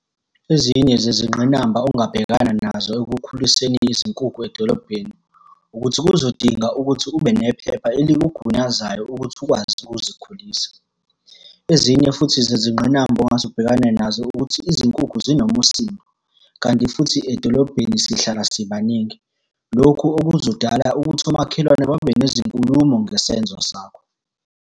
Ezinye zezingqinamba ongabhekana nazo ekukhuliseni izinkukhu edolobheni, ukuthi kuzodinga ukuthi ube nephepha elikugunyazayo ukuthi ukwazi ukuzikhulisa. Ezinye futhi zezingqinamba ongase ubhekane nazo ukuthi izinkukhu zinomusindo, kanti futhi edolobheni sihlala sibaningi. Lokhu okuzodala ukuthi omakhelwane babe nezinkulumo ngesenzo sakho.